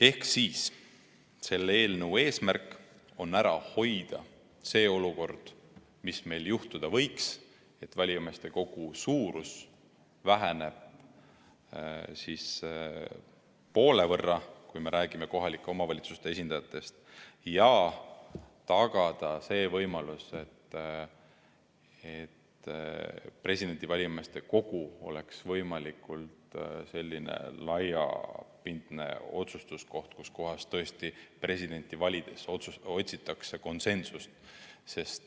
Ehk teisisõnu, selle eelnõu eesmärk on ära hoida see olukord, mis meil tekkida võiks, et valijameeste kogu suurus väheneb poole võrra, kui me räägime kohalike omavalitsuste esindajatest, ja tagada see võimalus, et presidendi valijameeste kogu oleks võimalikult laiapindne otsustuskoht, kus tõesti presidenti valides otsitakse konsensust.